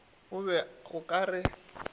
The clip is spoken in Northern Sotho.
o be o ka re